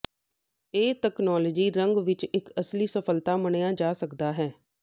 ਇਹ ਤਕਨਾਲੋਜੀ ਰੰਗ ਵਿੱਚ ਇੱਕ ਅਸਲੀ ਸਫਲਤਾ ਮੰਨਿਆ ਜਾ ਸਕਦਾ ਹੈ